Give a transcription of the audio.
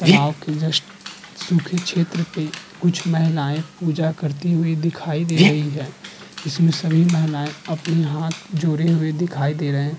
तलाब के जस्ट सुखे क्षेत्र पे कुछ महिलाययें पूजा करती हुई दिखाई दे रही हैं। जिसमें सभी महिलायें अपने हाथ जोड़े हुए दिखाई दे रहे हैं।